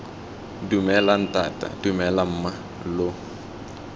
dumela ntata dumela mma lo